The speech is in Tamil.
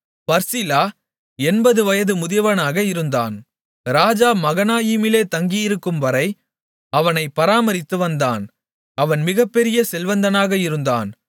பர்சிலா எண்பது வயது முதியவனாக இருந்தான் ராஜா மகனாயீமிலே தங்கியிருக்கும்வரை அவனைப் பராமரித்துவந்தான் அவன் மிகப்பெரிய செல்வந்தனாக இருந்தான்